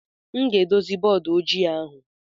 M ga-edozi bọọdụ ojii ahụ.